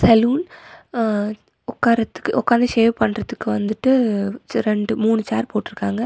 Salon ஹ உக்காரத்துக்கு உக்காந்து சேவ் பண்றதுக்கு வந்துட்டு ரெண்டு மூனு சேர் போட்ருக்காங்க.